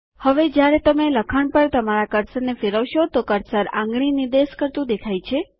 હવે જ્યારે તમે લખાણ પર તમારા કર્સરને ફેરવશો તો કર્સર આંગળી નિર્દેશ કરતું દેખાય છે